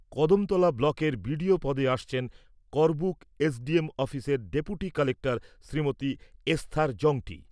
কদমতলা ব্লকের বিডিও পদে আসছেন করবুক এসডিএম অফিসের ডেপুটি কালেক্টর শ্রীমতি এসথার জংটি।